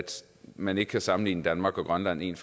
man ikke kan sammenligne danmark og grønland en